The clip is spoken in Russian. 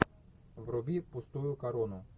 вруби пустую корону